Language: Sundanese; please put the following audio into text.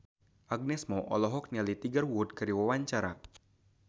Agnes Mo olohok ningali Tiger Wood keur diwawancara